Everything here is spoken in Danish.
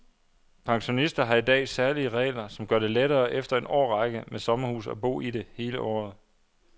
Pensionister har i dag særlige regler, som gør det lettere efter en årrække med sommerhus at bo i det hele året.